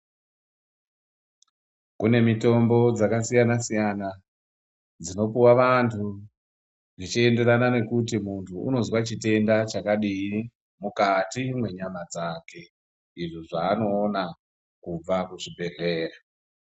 Kune mitombo dzakasiyana siyana dzinopiwa vantu zvichienderana nekuti muntu anozwa chitenda chakadii mukati menyama dzake izvo zvaanoona kubva kuzvibhedhlera.